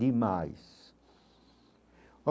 Demais